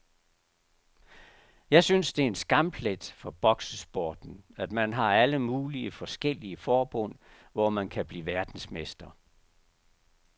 Jeg synes det er en skamplet for boksesporten, at man har alle mulige forskellige forbund, hvor man kan blive verdensmester.